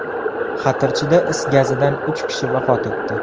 Xatirchida is gazidan uch kishi vafot etdi.